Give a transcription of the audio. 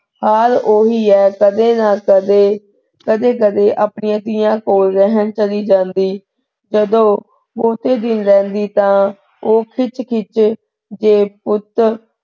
ਹਾਲ ਉਹ ਹੀ ਹੈ ਕਦੇ ਨਾ ਕਦੇ ਕਦੇ, ਕਦੇ ਕਦੇ ਆਪਣੀਆਂ ਧੀਆਂ ਕੋਲ ਰਹਿਣ ਚਲੀ ਜਾਂਦੀ ਜਦੋਂ ਬਹੁਤੇ ਦਿਨ ਰਹਿੰਦੀ ਤਾ ਉਹ ਖਿੱਝ ਖਿੱਝ ਤੇ ਪੁੱਤ,